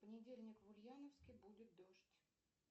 в понедельник в ульяновске будет дождь